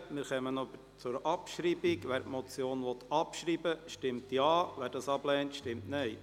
Wer die Motion abschreiben will, stimmt Ja, wer dies ablehnt, stimmt Nein.